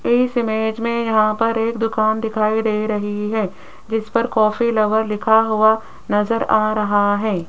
इस इमेज में यहां पर एक दुकान दिखाई दे रही है जिस पर कॉफ़ी लवर लिखा हुआ नजर आ रहा है।